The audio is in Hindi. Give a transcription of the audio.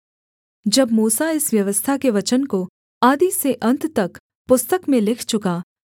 जब मूसा इस व्यवस्था के वचन को आदि से अन्त तक पुस्तक में लिख चुका